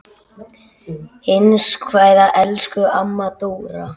HINSTA KVEÐJA Elsku amma Dóra.